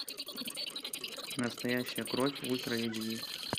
настоящая кровь ультра эйч ди